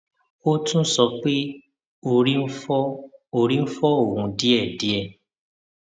ó tún sọ pé orí ń fọ orí ń fọ òun díẹ díẹ